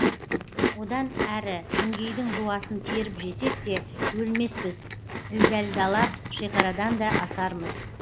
одан әрі күнгейдің жуасын теріп жесек те өлмеспіз ілдәлдалап шекарадан да асармыз